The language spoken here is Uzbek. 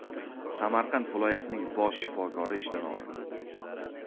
Samarqand viloyatining bosh shifokori ishdan olindi.